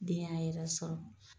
Den y'a yɛrɛ sɔrɔ.